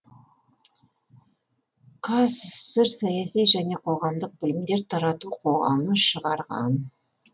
қазсср саяси және қоғамдық білімдер тарату қоғамы шығарған